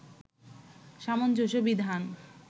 সামঞ্জস্য বিধান